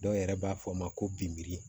Dɔw yɛrɛ b'a fɔ o ma ko biri